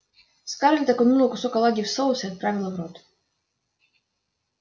скарлетт окунула кусок оладьи в соус и отправила в рот